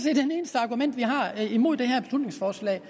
eneste argument vi har imod det her beslutningsforslag